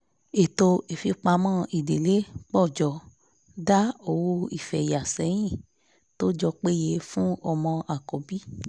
ètò ìfipamọ́ idílé pọ̀ jọ dá owó ìfeyà sẹ́yìn tó jọ péye fún ọmọ àkọ́bí